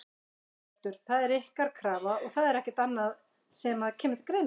Hjörtur: Það er ykkar krafa og það er ekkert annað sem að kemur til greina?